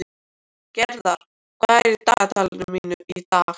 Gerðar, hvað er í dagatalinu mínu í dag?